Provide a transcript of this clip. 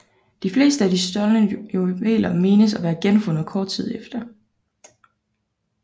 De fleste af de stjålne juveler menes at være genfundet kort tid efter